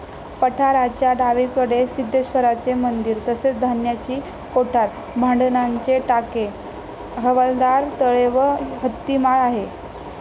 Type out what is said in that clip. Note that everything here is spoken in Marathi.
पठाराच्या डावीकडे सिद्धेश्वराचे मंदिर तसेच धान्याची कोठार, भांडणाचे टाके, हवालदार तळे व हत्तीमाळ आहे.